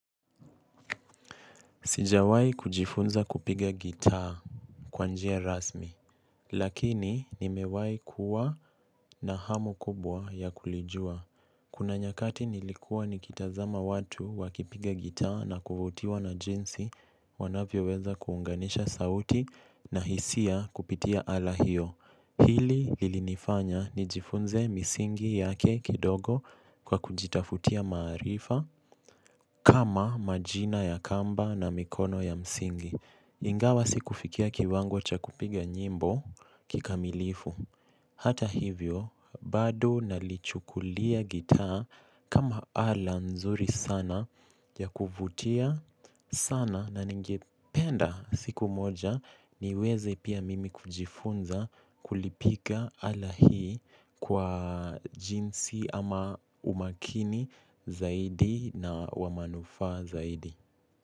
Sijawai kujifunza kupiga gitaa kwanjia rasmi, lakini nimewai kuwa na hamu kubwa ya kulijua. Kuna nyakati nilikua nikitazama watu wakipiga gitaa na kuvutiwa na jinsi wanavyo weza kuunganisha sauti na hisia kupitia ala hiyo. Hili lilinifanya nijifunze misingi yake kidogo kwa kujitafutia maarifa kama majina ya kamba na mikono ya msingi. Ingawa siku fikia kiwango chakupiga nyimbo kikamilifu. Hata hivyo, bado nalichukulia gitaa kama ala nzuri sana ya kuvutia sana na ningependa siku moja niweze pia mimi kujifunza kulipiga ala hii kwa jinsi ama umakini zaidi na wamanufaa zaidi.